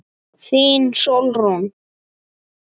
Þín Sólrún.